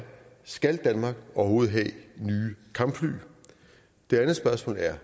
skal danmark overhovedet have nye kampfly det andet spørgsmål er